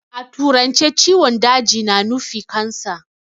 A turance ciwon daji na nufi "Cancer".